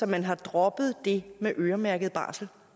man har droppet det med øremærket barsel